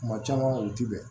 Kuma caman u ti bɛn